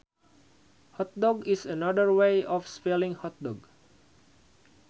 Hotdog is another way of spelling hot dog